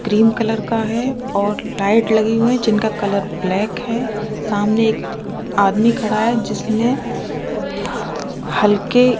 cream colour का है और लाइट लगी हुई हैं जिनका कलर ब्लैक है सामने एक आदमी खड़ा है जिसने हल्के --